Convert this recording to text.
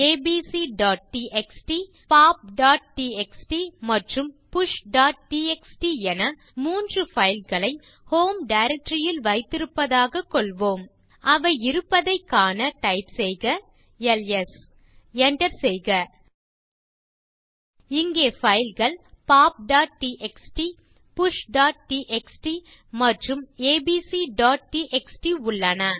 abcடிஎக்ஸ்டி pop TXT மற்றும் push TXT என 3 fileகளை ஹோம் டைரக்டரி ல் வைத்திருப்பதாக கொள்வோம் அவை இருப்பதைக் காண டைப் செய்க எல்எஸ் enter செய்க இங்கே fileகள் poptxtpushடிஎக்ஸ்டி மற்றும் abcடிஎக்ஸ்டி உள்ளன